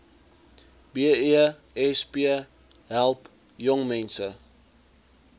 besp help jongmense